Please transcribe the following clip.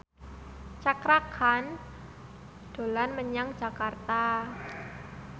Cakra Khan dolan menyang Jakarta